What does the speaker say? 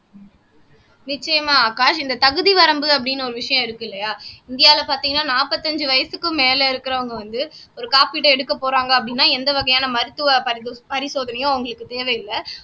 நிச்சயமா ஆகாஷ் இந்த தகுதி வரம்பு அப்படின்னு ஒரு விஷயம் இருக்கு இல்லையா இந்தியாவுல பார்த்தீங்கன்னா நாற்பத்தி ஐந்து வயதுக்கு மேல இருக்கிறவங்க வந்து ஒரு காப்பீடு எடுக்கப் போறாங்க அப்படின்னா எந்த வகையான மருத்துவ பரிசோத பரிசோதனையும் அவங்களுக்கு தேவையில்ல